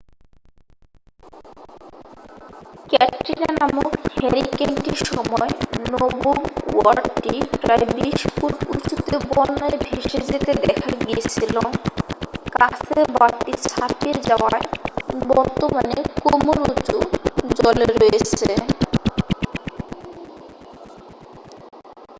ক্যাটরিনা নামক হারিকেনটির সময় নবম ওয়ার্ডটি প্রায় 20 ফুট উঁচুতে বন্যায় ভেসে যেতে দেখা গিয়েছিল কাছের বাঁধটি ছাপিয়ে যাওয়ায় বর্তমানে কোমর-উঁচু জলে রয়েছে